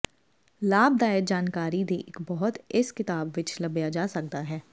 ਲਾਭਦਾਇਕ ਜਾਣਕਾਰੀ ਦੀ ਇੱਕ ਬਹੁਤ ਇਸ ਕਿਤਾਬ ਵਿੱਚ ਲੱਭਿਆ ਜਾ ਸਕਦਾ ਹੈ